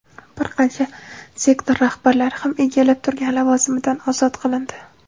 bir qancha sektor rahbarlari ham egallab turgan lavozimidan ozod qilindi.